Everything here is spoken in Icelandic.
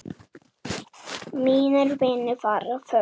Mínir vinir fara fjöld.